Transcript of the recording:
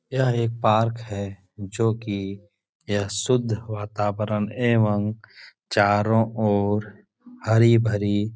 यह एक पार्क है जो कि यह शुद्ध वातावरण एवं चारो ओर हरी-भरी --